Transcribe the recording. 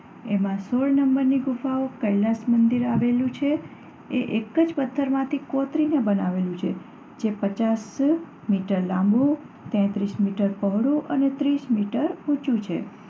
એમાં સોળ નંબરની ગુફામાં કૈલાસમંદિર આવેલું છે. એ એક જ પત્થરમાંથી કોતરીને બનાવેલું છે જે પચાસ ફૂટ મીટર લાંબું, તેત્રીસ મીટર પહોળું અને ત્રીસ મીટર ઊંચું છે.